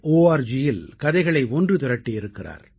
orgயில் கதைகளை ஒன்று திரட்டியிருக்கிறார்